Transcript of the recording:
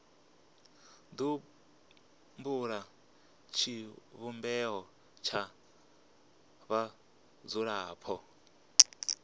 do bula tshivhumbeo tsha vhadzulapo